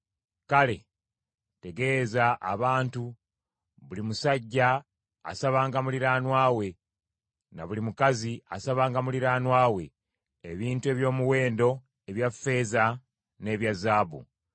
Kale, tegeeza abantu, buli musajja asabanga muliraanwa we, ne buli mukazi asabanga muliraanwa we, ebintu eby’omuwendo ebya ffeeza n’ebya zaabu.”